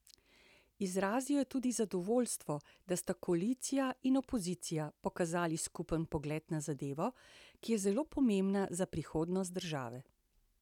Izrazil je tudi zadovoljstvo, da sta koalicija in opozicija pokazali skupen pogled na zadevo, ki je zelo pomembna za prihodnost države.